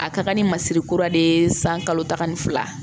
A ka kan ni masiri kura de ye san kalo tan ni fila